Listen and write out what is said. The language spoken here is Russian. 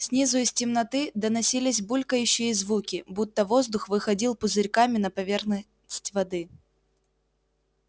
снизу из темноты доносились булькающие звуки будто воздух выходил пузырьками на поверхность воды